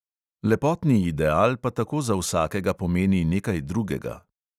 Lepotni ideal pa tako za vsakega pomeni nekaj drugega.